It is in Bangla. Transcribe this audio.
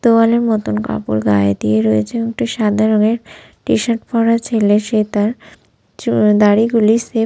তোয়ালে মতন কাপড় গায়ে দিয়ে রয়েছে একটি সাদা রঙের টি-শার্ট পরা ছেলে সে তার চুল দাড়ি গুলি সেফ --